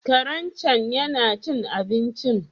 Karen cen yana cin abincin?